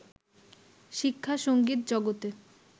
শিক্ষা-সংগীত জগতে